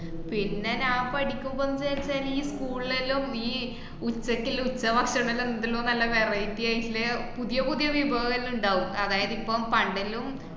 പിന്നെ ഞാൻ പഠിക്കുമ്പോന്ന്ച്ചാല് ഈ school എല്ലോ ഈ ഉച്ചയ്ക്ക്ള്ള ഉച്ചഭക്ഷണോല്ലാ എന്താലോ നല്ല variety ആയിട്ടില്ലേ പുതിയ പുതിയ വിഭവംഎല്ലോ ഇണ്ടാകും അതായത് ഇപ്പോ പണ്ടല്ലോം